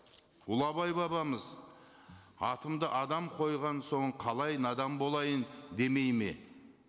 ұлы абай бабамыз атымды адам қойған соң қалай надан болайын демейді ме